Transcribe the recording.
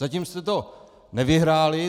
Zatím jste to nevyhráli.